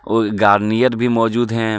कुछ गार्नियर भी मौजूद हैं.